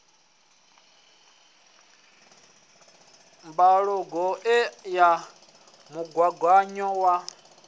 mbalogu ṱe ya mugaganyo wa